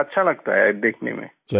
जी अच्छा लगता है देखने में